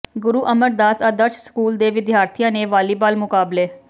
ਗੁਰੂ Amardas Adarsh school ਦੇ ਵਿਦਿਆਰਥੀਆਂ ਨੇ ਵਾਲੀਬਾਲ ਮੁਕਾਬਲੇ